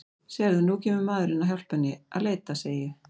Sérðu, nú kemur maðurinn að hjálpa henni að leita, segi ég.